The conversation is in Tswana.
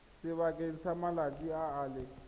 sebakeng sa malatsi a le